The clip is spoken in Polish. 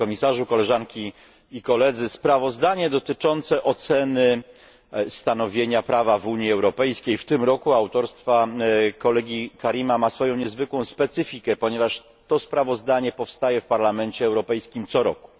Panie Komisarzu! Sprawozdanie dotyczący oceny stanowienia prawa w Unii Europejskiej w tym roku autorstwa kolegi Karima ma swoją niezwykłą specyfikę, ponieważ to sprawozdanie powstaje w Parlamencie Europejskim co roku.